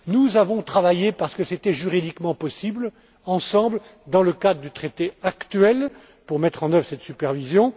Nous avons travaillé, parce que c'était juridiquement possible, ensemble, dans le cadre du traité actuel, pour mettre en oeuvre cette supervision.